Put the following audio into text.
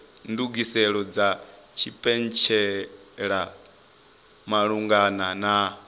ndugiselo dza tshipentshela malugana na